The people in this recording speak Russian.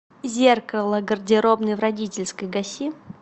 зеркало гардеробной в родительской гаси